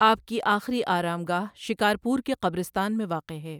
آپ کی آخری آرامگاہ شکار پور کے قبرستان میں واقع ہے۔